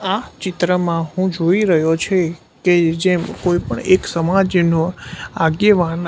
આ ચિત્રમાં હું જોઈ રહ્યો છે કે જેમ કોઈ પણ એક સમાજનો આગેવાન--